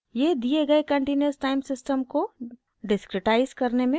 यह दिए गए कंटीन्यूअस टाइम सिस्टम को डिस्क्रिटाइज़ करने में मदद करता है